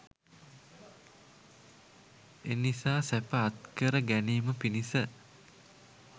එනිසා සැප අත්කර ගැනීම පිණිස